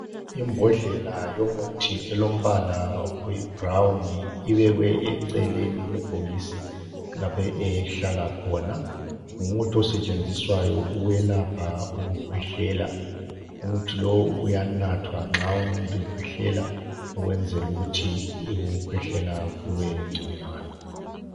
Imbodlela yomuthi elombala oyi brown ibekwe eceleni kwebhokisi lapho ehlala khona. Ngumuthi osetshenziswayo ukwelapha ukhwehlela. Umuthi lo uyanathwa nxa umuntu ekhwehlela ukwenzela ukuthi kube ngconywana.